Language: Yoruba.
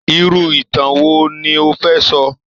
Irú ìtàn wo ni o fẹ́ sọ?